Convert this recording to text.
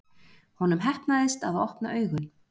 Honum heppnaðist að opna augun.